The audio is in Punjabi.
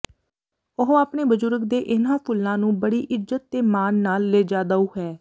ਉਹ ਆਪਣੇ ਬਜੁਰਗ ਦੇ ਇਨ੍ਹਾਂ ਫੁੱਲਾਂ ਨੂੰ ਬੜੀ ਇੱਜਤ ਤੇ ਮਾਨ ਨਾਲ ਲਿਜਾਦੳ ਹੈ